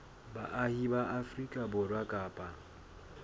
baahi ba afrika borwa kapa